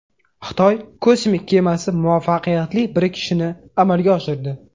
Xitoy kosmik kemasi muvaffaqiyatli birikishni amalga oshirdi.